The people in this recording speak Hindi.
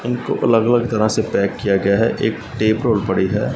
इनको अलग अलग तरह से पैक किया गया है एक टेप रोल पड़ी है।